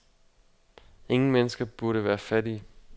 Ingen mennesker burde være fattige.